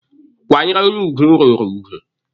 Kwanyere onye ugwu ruru ugwu.